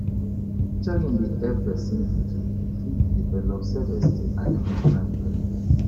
Nurturing dey help person to fit develop self-esteem and emotional intelligence